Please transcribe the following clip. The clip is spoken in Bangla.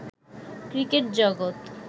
ক্রিকেট জগত